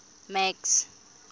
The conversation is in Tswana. max